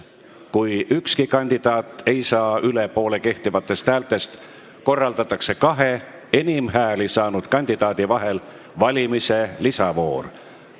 Kui ükski kandidaat ei saa üle poole kehtivatest häältest, korraldatakse kahe enim hääli saanud kandidaadi vahel valimise lisavoor.